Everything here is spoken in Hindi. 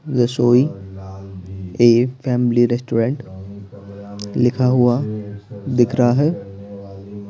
रसोई ए फैमिली रेस्टोरेंट लिखा हुआ दिख रहा है।